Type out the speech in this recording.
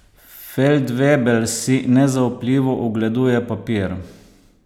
Feldvebel si nezaupljivo ogleduje papir.